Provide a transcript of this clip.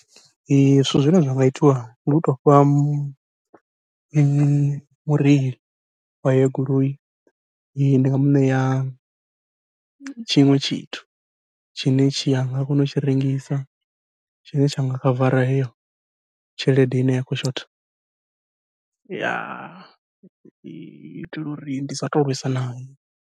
Zwithu zwine zwa nga itiwa ndi u tou fha mu mu mureili wa heyo goloi, ndi nga muṋea tshiṅwe tshithu tshine tshi anga kona u tshi rengisa tshine tsha nga khavara heyo tshelede heyo ine ya khou shotha uitela uri ndi sa tou lwesa nae.